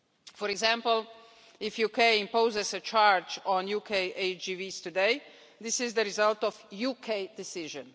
For example, if the UK imposes a charge on UK HGVs today, this is the result of a UK decision.